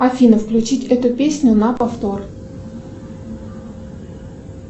афина включить эту песню на повтор